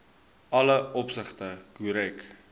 alle opsigte korrek